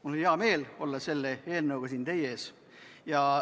Mul on hea meel olla selle eelnõuga siin teie ees.